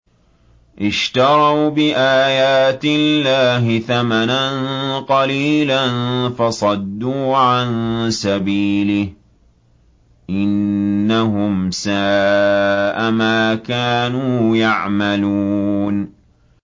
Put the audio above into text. اشْتَرَوْا بِآيَاتِ اللَّهِ ثَمَنًا قَلِيلًا فَصَدُّوا عَن سَبِيلِهِ ۚ إِنَّهُمْ سَاءَ مَا كَانُوا يَعْمَلُونَ